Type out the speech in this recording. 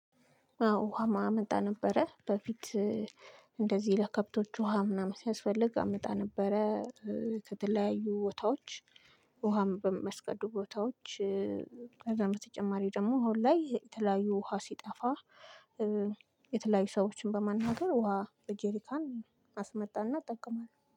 አዎ ውሃም አመጣ ነበረ በፊት እንደዚህ ለከብቶቹ ውሃ ምናምን ሲያስፈልግ አመጣ ነበረ። ከተለያዩ ቦታዎች ውሃም በመስቀዱ ቦታዎች ከዛም በተጨማሪ ደግሞ አሁን ላይ የተለያዩ ውሃ ሲጠፋ። የተለያዩ ሰዎችን በማናገር ውሃ በጄሪካን አስመጣና ጠቀማል